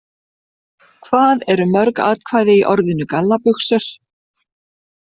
Hvað eru mörg atkvæði í orðinu gallabuxur?